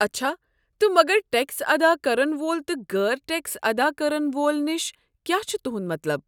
اچھا، تہٕ مگر ٹیكس ادا كرن وول تہٕ غٲر ٹیكس ادا كرن وول نِش كِیاہ چھ تہنٛد مطلب؟